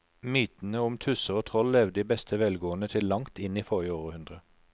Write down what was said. Mytene om tusser og troll levde i beste velgående til langt inn i forrige århundre.